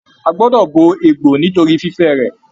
A gbọdọ bo egbò nitori fifẹ rẹ.